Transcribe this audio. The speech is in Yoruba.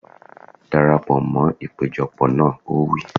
Dara pọ̀ mọ́ ìpéjọ pọ̀ náà! Ó wí.